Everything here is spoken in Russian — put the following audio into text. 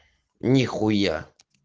ни хуя